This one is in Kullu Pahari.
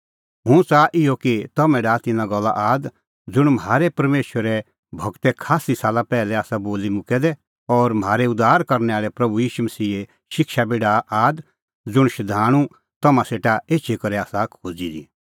हुंह च़ाहा इहअ कि तम्हैं डाहा तिन्नां गल्ला आद ज़ुंण म्हारै परमेशरे गूरै खास्सी साला पैहलै आसा बोली मुक्कै दै और म्हारै उद्धार करनै आल़ै प्रभू ईशू मसीहे शिक्षा बी डाहा आद ज़ुंण शधाणूं तम्हां सेटा एछी करै आसा खोज़ी दी